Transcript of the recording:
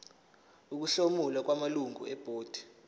ukuhlomula kwamalungu ebhodi